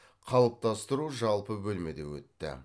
қалыптастыру жалпы бөлмеде өтті